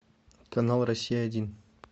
канал россия один